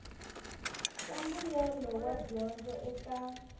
swa mbuyelo wa dyondzo eka